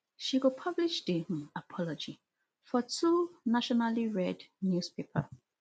she go publish di um apology for two nationallyread newspaper